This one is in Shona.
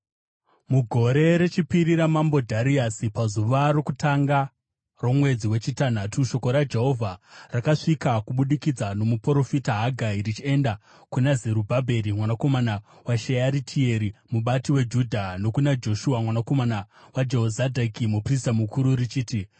Mugore rechipiri ramambo Dhariasi, pazuva rokutanga romwedzi wechitanhatu, shoko raJehovha rakasvika kubudikidza nomuprofita Hagai richienda kuna Zerubhabheri mwanakomana waShearitieri, mubati weJudha, nokuna Joshua mwanakomana waJehozadhaki, muprista mukuru, richiti: